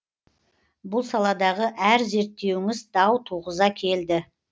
бұл саладағы әр зерттеуіңіз дау туғыза келді